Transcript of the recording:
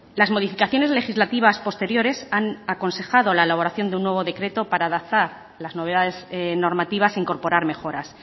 las modificaciones legislativas posteriores han aconsejado la elaboración de un nuevo decreto para adaptar las novedades normativas e incorporar mejoras